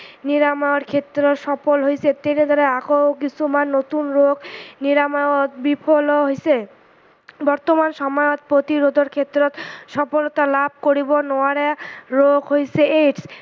নিৰায়মৰ ক্ষেত্ৰত সফল হৈছে তেনেদৰে আকৌ কিছুমান নতুন ৰোগ নিৰাময়ত বিফলো হৈছে। বৰ্তমান সময়ত প্ৰতিৰোধৰ ক্ষেত্ৰত সফলতা লাভ কৰিব নোৱাৰা ৰোগ হৈছে AIDS